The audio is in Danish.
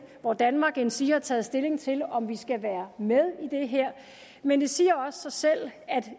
hvor danmark endsige har taget stilling til om vi skal være med i det her men det siger også sig selv